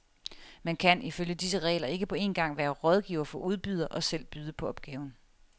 Man kan ifølge disse regler ikke på en gang være rådgiver for udbyder og selv byde på opgaven.